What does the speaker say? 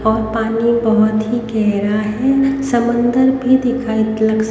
और पानी बहुत ही गहरा है समंदर भी दिखाई लग स--